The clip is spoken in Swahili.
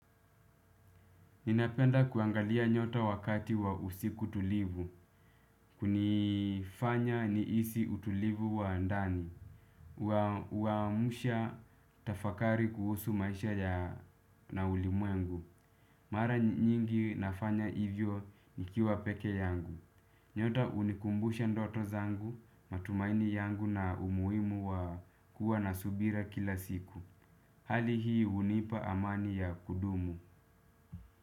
Ninapenda kuangalia nyota wakati wa usiku tulivu, hunifanya nihisi utulivu wa ndani, huamsha tafakari kuhusu maisha ya na ulimwengu. Mara nyingi nafanya hivyo ni kiwa peke yangu. Nyota hunikumbusha ndoto zangu, matumaini yangu na umuhimu wa kuwa na subira kila siku. Hali hii hunipa amani ya kudumu.